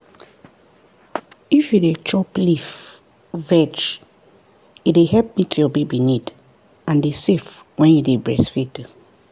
if you dey chop leaf-veg e dey help meet your baby need and e safe when you dey breastfeed.